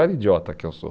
Olha que idiota que eu sou.